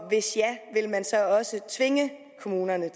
hvis ja vil man så også tvinge kommunerne